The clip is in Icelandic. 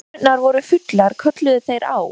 Þegar tunnurnar voru fullar kölluðu þær á